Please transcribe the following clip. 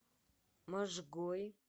можгой